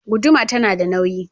Guduma ta na da nauyi.